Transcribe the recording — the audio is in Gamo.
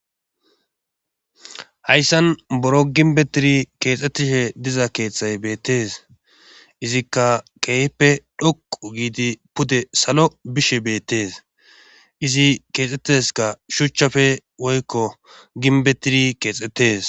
hayssan boro ginbbetiri keexxettishe diza keethay beettees izikka keehippe dhoqu giidi pude salo bishe beettes izi keexetteska shuchchafe woykko ginbbetiri keexettes.